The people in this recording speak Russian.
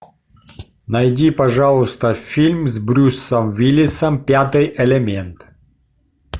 найди пожалуйста фильм с брюсом уиллисом пятый элемент